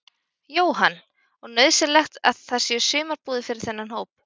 Jóhann: Og nauðsynlegt að það séu sumarbúðir fyrir þennan hóp?